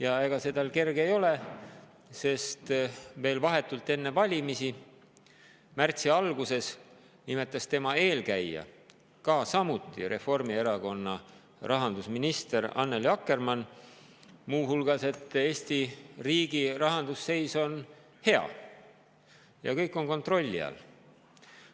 Ja ega see tal kerge ei ole, sest vahetult enne valimisi, märtsi alguses nimetas tema eelkäija – samuti Reformierakonna rahandusminister Annely Akkermann – muu hulgas, et Eesti riigi rahanduse seis on hea ja kõik on kontrolli all.